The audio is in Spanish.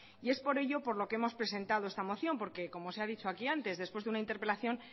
y es por ello por lo que hemos presentado esta moción porque como se ha dicho aquí antes después de una interpelación